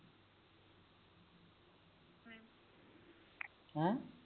ਹੈ